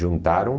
Juntaram.